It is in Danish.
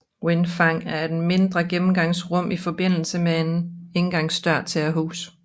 Vindfang er et mindre gennemgangsrum i forbindelse med en indgangsdør til et hus